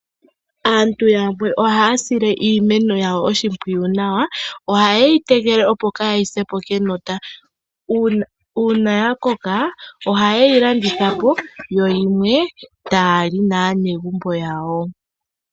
Aantu yamwe ohaya sile iimeno yawo oshipwiyu nawa oha yeyi tekele, opo yaa sepo kenota. Uuna ya koka oha yeyi landithapo yo yimwe taya li naanegumbo yawo.